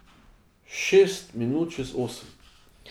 Šest minut čez osem.